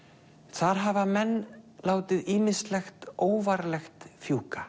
þar hafa menn látið ýmislegt óvarlegt fjúka